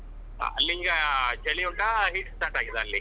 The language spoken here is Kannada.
ನಿಮ್ಗೆ ಚಳಿ ಉಂಟಾ heat start ಆಗಿದ ಅಲ್ಲಿ?